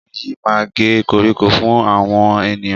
Ọkùnrin yìí máa ń gé koríko fún àwọn ènìyàn.